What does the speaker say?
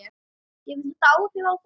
Hefur þetta áhrif á þau?